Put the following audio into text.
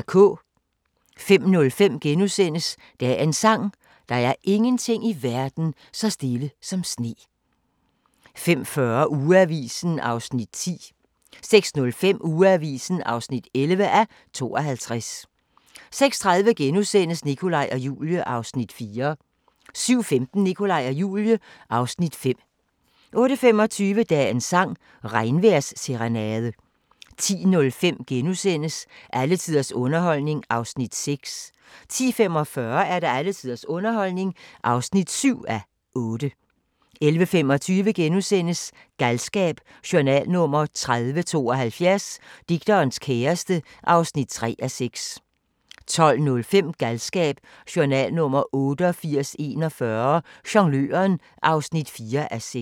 05:05: Dagens sang: Der er ingenting i verden så stille som sne * 05:40: Ugeavisen (10:52) 06:05: Ugeavisen (11:52) 06:30: Nikolaj og Julie (Afs. 4)* 07:15: Nikolaj og Julie (Afs. 5) 08:25: Dagens sang: Regnvejrsserenade 10:05: Alle tiders underholdning (6:8)* 10:45: Alle tiders underholdning (7:8) 11:25: Galskab: Journal nr. 3072 - Digterens kæreste (3:6)* 12:05: Galskab: Journal nr. 8841 - Jongløren (4:6)